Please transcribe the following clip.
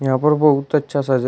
यहां पर बहुत अच्छा सा जगह--